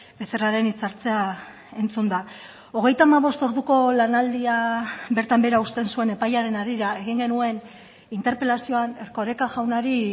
becerraren hitzartzea entzunda hogeita hamabost orduko lanaldia bertan behera uzten zuen epaiaren harira egin genuen interpelazioan erkoreka jaunari